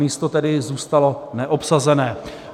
Místo tedy zůstalo neobsazené.